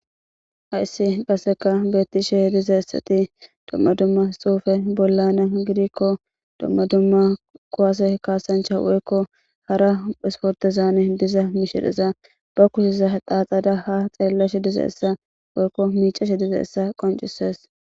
Hayss qasekka betishshe dizayissati dumma dumma xufe bolana woyikko duma dumma kuwase kasancha woyikko hara isportezan diza mishaza ba kushshezan xaxada ha xelishshe dizayssa woyikko micaahshe dizayissa qoncisses